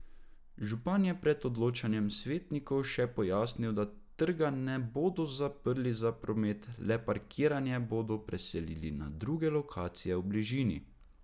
Župan je pred odločanjem svetnikov še pojasnil, da trga ne bodo zaprli za promet, le parkiranje bodo preselili na druge lokacije v bližini.